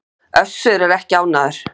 Össur er ekki ánægður.